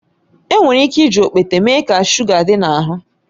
Enwere ike iji okpete mee ka shuga dị n'ahụ